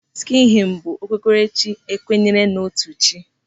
Sikhism bụ okpukperechi kwenyere n'otu chi.